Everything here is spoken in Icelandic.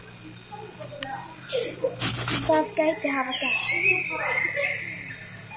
Það gæti hafa gerst.